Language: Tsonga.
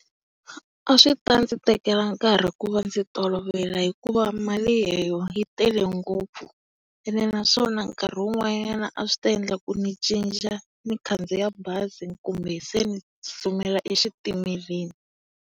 A swi ta ndzi tekela nkahi ku va ndzi tolovela hikuva mali yi tele ngopfu. Ene naswona nkarhi wun'wana a swi ta endla ku ni cinca ni khandziya bazi kumbe se ni tsutsumela exitimeleni.